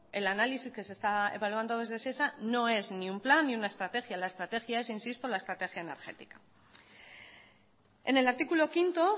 el análisis que se está evaluando desde shesa no es ni un plan ni una estrategia la estrategia es insisto la estrategia energética en el artículo quinto